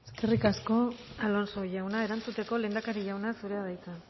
eskerrik asko alonso jauna erantzuteko lehendakari jauna zurea da hitza